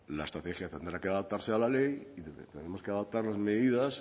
la estrategia tendrá que adaptarse a la ley y tendremos que adaptar las medidas